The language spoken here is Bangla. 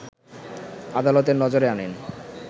আদালতের নজরে আনেন